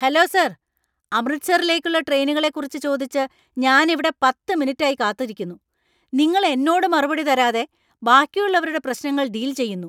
Hello sir! അമൃത്സറിലേക്കുള്ള ട്രെയിനുകളെക്കുറിച്ച് ചോദിച്ച് ഞാൻ ഇവിടെ പത്ത് മിനിറ്റായി കാത്തിരിക്കുന്നു. നിങ്ങൾ എന്നോട് മറുപടി തരാതെ ബാക്കിയുള്ളവരുടെ പ്രശ്നങ്ങള്‍ ഡീല്‍ ചെയ്യുന്നു.